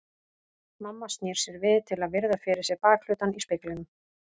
Mamma snýr sér við til að virða fyrir sér bakhlutann í speglinum.